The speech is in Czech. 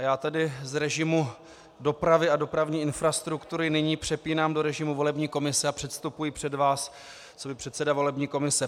A já tedy z režimu dopravy a dopravní infrastruktury nyní přepínám do režimu volební komise a předstupuji před vás coby předseda volební komise.